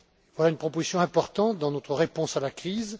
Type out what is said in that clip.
Voilà une proposition importante dans notre réponse à la crise.